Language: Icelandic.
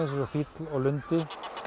fýll og lundi